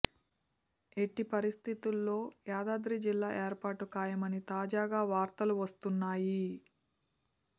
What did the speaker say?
ఎట్టి పరిస్థితుల్లో యాదాద్రి జిల్లా ఏర్పాటు ఖాయమని తాజాగా వార్తవు వస్తున్నాయి